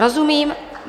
Rozumím.